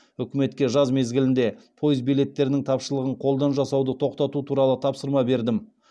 үкіметке жаз мезгілінде пойыз билеттерінің тапшылығын қолдан жасауды тоқтату туралы тапсырма бердім